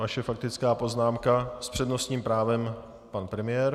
Vaše faktická poznámka s přednostním právem - pan premiér.